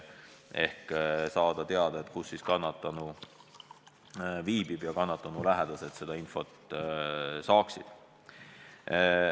Seda on vaja, et kannatanu lähedased seda infot saaksid.